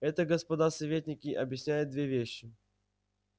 это господа советники объясняет две вещи